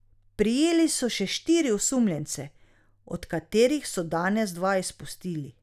Prijeli so še štiri osumljence, od katerih so danes dva izpustili.